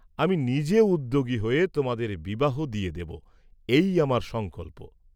আমি নিজে উদ্যোগী হয়ে তোমাদের বিবাহ দিয়ে দেব, এই আমার সংকল্প।